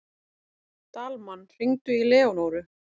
Dalmann, hringdu í Leónóru.